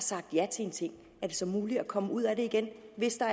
sagt ja til en ting er det så muligt at komme ud af det igen hvis der